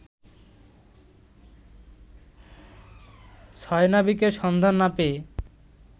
ছয় নাবিকের সন্ধান না পেয়ে